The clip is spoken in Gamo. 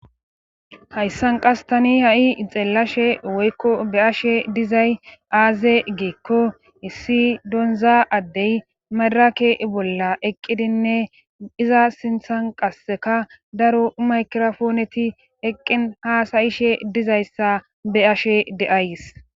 hayssan qas tani ha7i ixellashe woykko be7ashe dizay aaze geekko issi donza addey madrake bolla eqqidinne iza sinthan qasseka daro maykrofooneti eqqin haasayishe dizayssa be7ashe de7ays